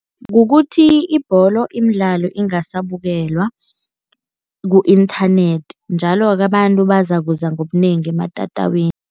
Kukuthi ibholo, imidlalo ingasabukelwa ku-inthanethi njalo-ke abantu bazakuza ngobunengi ematatawini.